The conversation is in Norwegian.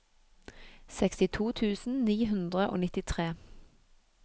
sekstito tusen ni hundre og nittitre